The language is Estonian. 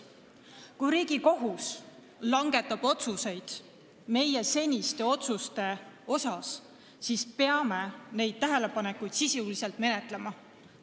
Kui Riigikohus langetab otsuseid meie seniste otsuste kohta, siis peame neid tähelepanekuid sisuliselt menetlema.